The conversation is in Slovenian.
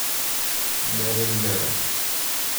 Dneve in dneve.